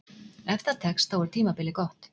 Ef það tekst, þá er tímabilið gott.